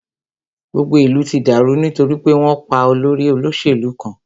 Gbogbo ìlú ti dàrú nítorí pé wọn pá olórí olóṣèlú kan.